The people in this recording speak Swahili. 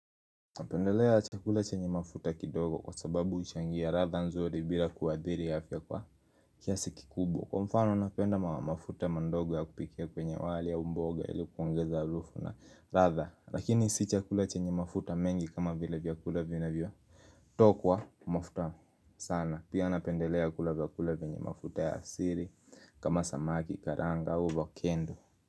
Napendelea chakula chenye mafuta kidogo kwa sababu huchangia ladha nzuri bila kuadhiri afya kwa kiasi kikubwa. Kwa mfano napenda mafuta mandogo ya kupikia kwenye wali au mboga ili kuongeza harufu na ladha. Lakini si chakula chenye mafuta mengi kama vile vyakula vinavyo tokwa mafuta sana pia napendelea kula vyakula venye mafuta ya asili kama samaki karanga ua uvakendu.